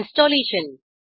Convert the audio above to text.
installation